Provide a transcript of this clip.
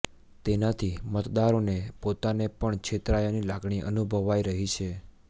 તેનાથી મતદારોને પોતાને પણ છેતરાયાની લાગણી અનુભવાઈ રહી છે